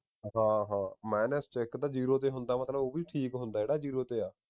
ਹਾਂ ਹਾਂ ਮਾਈਨੱਸ ਵਿਚ ਇਕ ਤੇ ਜੀਰੋ ਤੇ ਹੁੰਦਾ ਮਤਲਬ ਉਹ ਵੀ ਠੀਕ ਹੁੰਦਾ ਜਿਹੜਾ ਜੀਰੋ ਤੇ ਆ